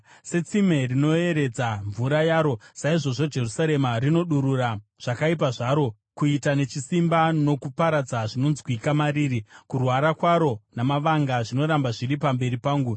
Setsime rinoeredza mvura yaro, saizvozvo Jerusarema rinodurura zvakaipa zvaro. Kuita nechisimba nokuparadza zvinonzwikwa mariri, kurwara kwaro namavanga zvinoramba zviri pamberi pangu.